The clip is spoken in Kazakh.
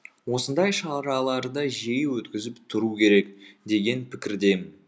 осындай шараларды жиі өткізіп тұру керек деген пікірдемін